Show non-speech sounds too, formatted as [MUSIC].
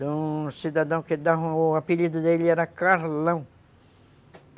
[UNINTELLIGIBLE] cidadão que o apelido dele era Carlão.